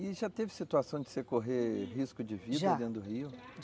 E já teve situação de você correr risco de vida dentro do rio? Já.